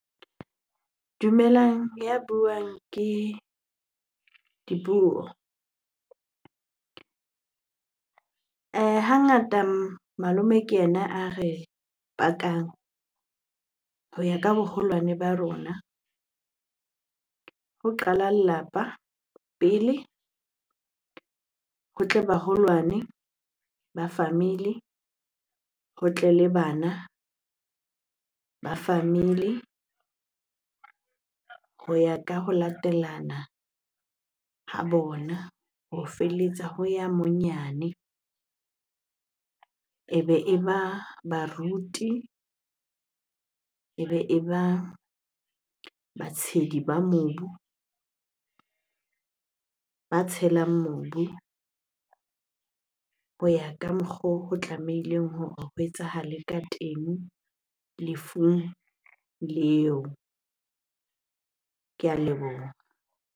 Dumelang, ya buang ke Dipuo. Hangata malome ke ena a re pakang ho ya ka boholwane ba rona. Ho qala lelapa pele, ho tle baholwane ba family, ho tle le bana ba family, ho ya ka ho latelana ha bona ho ho ya monyane. Ebe e ba baruti, ebe e ba batshedi ba mobu, ba tshelang mobu ho ya ka mokgo ho tlamehileng hore ho etsahale ka teng lefung leo. Ke a leboha.